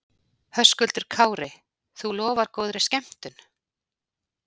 Höskuldur Kári: Þú lofar góðri skemmtun?